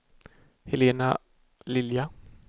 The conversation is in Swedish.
Helena Lilja